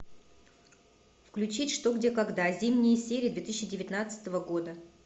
включить что где когда зимние серии две тысячи девятнадцатого года